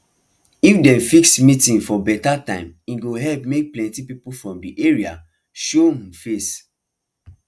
if dem fix meeting for beta time e go help make plenty people from de area show um face